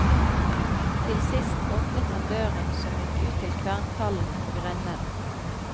Til sist åpnet han døren som gikk ut til kvernkallen og rennen.